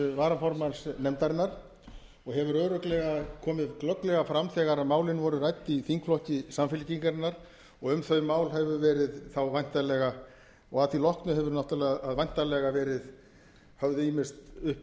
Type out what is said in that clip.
varaformanns nefndarinnar og hefur örugglega komið glögglega fram þegar málin voru rædd í þingflokki samfylkingarinnar og um þau mál hefur verið þá væntanlega og að því loknu hafa náttúrlega væntanlega verið höfð ýmist uppi